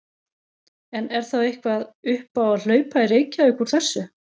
En er þá eitthvað upp á að hlaupa í Reykjavík úr þessu?